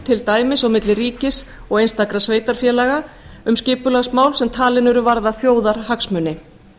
til dæmis á milli ríkis og einstakra sveitarfélaga um skipulagsmál sem talin eru varða þjóðarhagsmuni